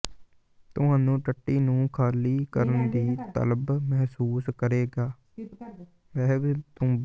ਤੁਹਾਨੂੰ ਟੱਟੀ ਨੂੰ ਖਾਲੀ ਕਰਨ ਦੀ ਤਲਬ ਮਹਿਸੂਸ ਕਰੇਗਾ